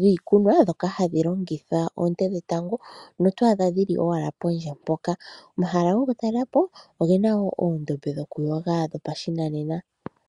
dhiikunwa ndhoka hadhi longitha oonte dhetango, oto adha ashike dhili pondje mpoka. Omahala gokutalela po ogena uundombe wokuyoga wopashinanena.